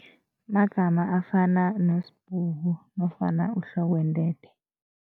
Magama afana noSibhuku nofana uHlokwentethe.